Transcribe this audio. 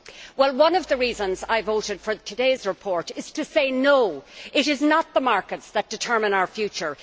Well one of the reasons I voted for today's report is to say, no, it is not the markets that determine our future.